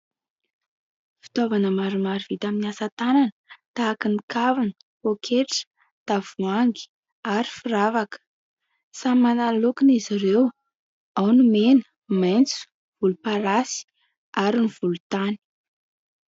Fitaovana maromaro vita amin'ny asa tanana tahaka ny kavina poaketra, tavoahangy ary firavaka. Samy manana ny lokony izy ireo ao ny mena, maitso, volomparasy ary ny volontany.